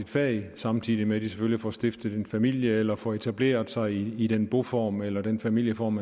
fag samtidig med at de selvfølgelig får stiftet en familie eller får etableret sig i i den boform eller den familieform